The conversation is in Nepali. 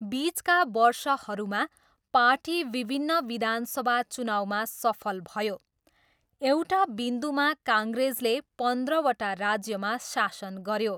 बिचका वर्षहरूमा, पार्टी विभिन्न विधान सभा चुनाउमा सफल भयो, एउटा बिन्दुमा, काङ्ग्रेसले पन्ध्रवटा राज्यमा शासन गऱ्यो।